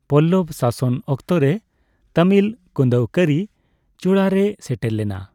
ᱯᱚᱞᱞᱚᱵᱽ ᱥᱟᱥᱚᱱ ᱚᱠᱛᱚᱨᱮ ᱛᱟᱢᱤᱞ ᱠᱩᱸᱫᱟᱹᱣᱠᱟᱹᱨᱤ ᱪᱩᱲᱟᱹᱨᱮ ᱥᱮᱴᱮᱨ ᱞᱮᱱᱟ ᱾